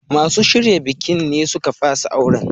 Masu shirya bikin ne suka fasa auren.